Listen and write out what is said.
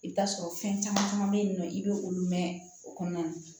I bɛ t'a sɔrɔ fɛn caman bɛ yen nɔ i bɛ olu mɛn o kɔnɔna na